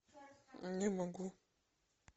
не могу